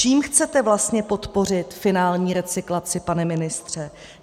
Čím chcete vlastně podpořit finální recyklaci, pane ministře?